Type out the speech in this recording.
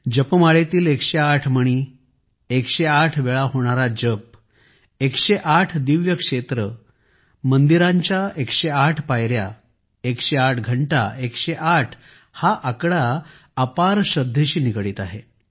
जपमाळेतील 108 मणी 108 वेळा होणारा जप 108 दिव्य क्षेत्र मंदिरांच्या 108 पायऱ्या 108 घंटा 108 हा आकडा अपार श्रद्धेशी निगडीत आहे